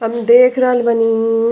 हम देख रहल बानी।